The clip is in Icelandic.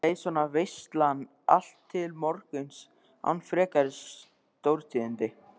Leið svo veislan allt til morguns án frekari stórtíðinda.